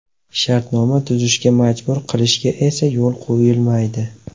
Shartnoma tuzishga majbur qilishga esa yo‘l qo‘yilmaydi.